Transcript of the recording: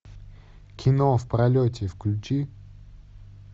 кино в пролете включи